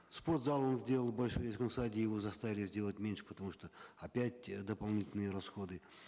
спортзал он сделал большой его заставили сделать меньше потому что опять дополнительные расходы